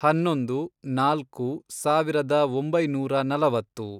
ಹನ್ನೊಂದು, ನಾಲ್ಕು, ಸಾವಿರದ ಒಂಬೈನೂರ ನಲವತ್ತು